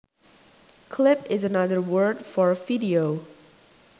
Clip is another word for video